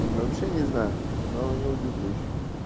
вообще не знаю но не удивлюсь